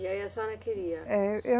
E aí a senhora queria? É, eu